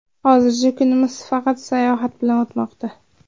Hozircha kunimiz faqat sayohat bilan o‘tmoqda.